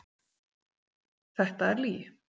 Þetta er lygi.